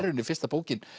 fyrsta bókin